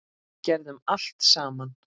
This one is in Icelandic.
Gerðum allt saman.